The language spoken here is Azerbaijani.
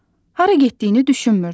Hara getdiyini düşünmürdü.